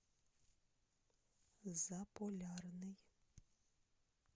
заполярный